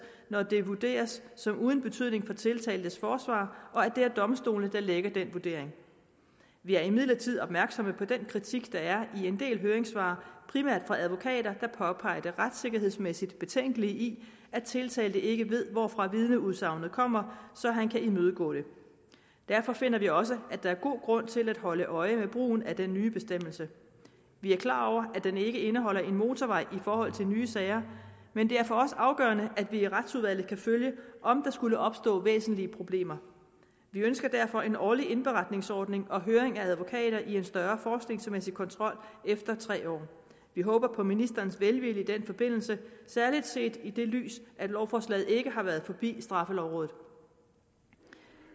når det vurderes som uden betydning for tiltaltes forsvar og at det er domstolene der lægger den vurdering vi er imidlertid opmærksomme på den kritik der er i en del af høringssvarene primært fra advokater der påpeger det retssikkerhedsmæssigt betænkelige i at tiltalte ikke ved hvorfra et vidneudsagn kommer så han kan imødegå det derfor finder vi også at der er god grund til at holde øje med brugen af den nye bestemmelse vi er klar over at den ikke indeholder en motorvej i forhold til nye sager men det er for os afgørende at vi i retsudvalget kan følge om der skulle opstå væsentlige problemer vi ønsker derfor en årlig indberetningsordning og høring af advokater og en større forskningsmæssig kontrol efter tre år vi håber på ministerens velvilje i den forbindelse særlig set i det lys at lovforslaget ikke har været forbi straffelovrådet